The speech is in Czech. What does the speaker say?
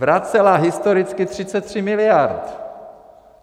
Vracela historicky 33 miliard!